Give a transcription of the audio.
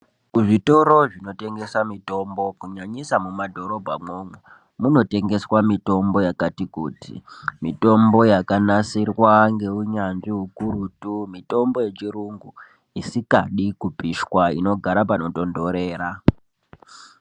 Ku zvitoro zvino tengesa mitombo kunyanyisa muma dhorobha mwo umu muno tengeswa mitombo yakati kuti mitombo yaka nasirwa nge unyanzvi ukurutu mitombo yechi yungu isingadi kupishwa ino gara pano tondorera.